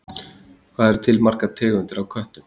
Hvað eru til margar tegundir af köttum?